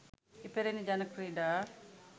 ඉපැරණි ජන ක්‍රීඩා